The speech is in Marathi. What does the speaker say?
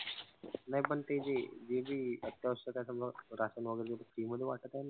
नाई पण ते जे हे जी अत्यावश्यक आहे समजा राशन वगैरे जे free मध्ये वाटत आहे ना.